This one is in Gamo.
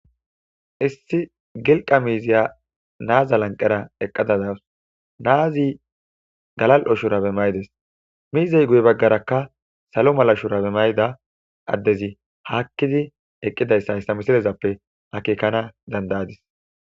Issi gilqa miziya nazs lanqera eqada dawus nazi galalo shurabe mayides mizay guye bagaraka salo mala shurabe mayida adezi hakidi eqidaysa ha misilezape akekan dada'adies